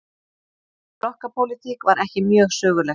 Flokkapólitík var ekki mjög söguleg.